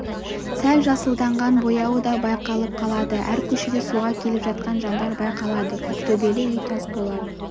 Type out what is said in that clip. сәл жасылданған бояуы да байқалып қалады әр көшеде суға келіп жатқан жандар байқалады көктөбел үй тасболат